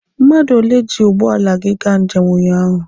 Mmadụ ole ji ụgbọala gị gaa njem ụnyaahụ?